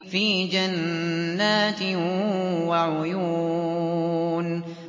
فِي جَنَّاتٍ وَعُيُونٍ